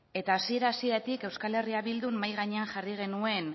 eta hasiera hasieratik euskal herria bildun mahai gainean jarri genuen